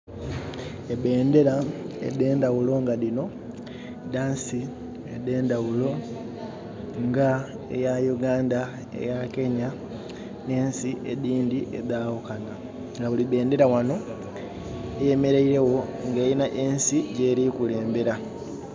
Ebendhera edhe ndhaghulo nga dhinho dha nsi edhe ndhaghulo nga eya Uganda, eya Kenya nhe nsi edhindhi edhaghukanha nga buli bendhera ghano eyemereire gho nga erina ensi gyeri kukulembera